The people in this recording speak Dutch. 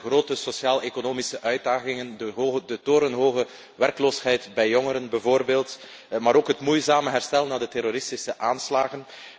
Er zijn de grote sociaaleconomische uitdagingen, de torenhoge werkloosheid bij jongeren bijvoorbeeld, maar ook het moeizame herstel na de terroristische aanslagen.